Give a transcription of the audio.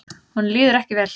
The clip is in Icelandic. Honum líður ekki vel.